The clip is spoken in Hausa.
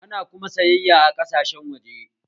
Ana kuma sayayya a ƙasashen waje